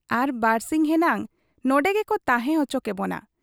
ᱟᱨ ᱵᱟᱹᱨᱥᱤᱧ ᱦᱮᱱᱟᱝ ᱱᱚᱱᱰᱮ ᱜᱮᱠᱚ ᱛᱟᱦᱮᱸ ᱚᱪᱚ ᱠᱮᱵᱚᱱᱟ ᱾